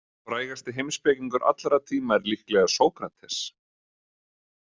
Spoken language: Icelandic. Frægasti heimspekingur allra tíma er líklega Sókrates.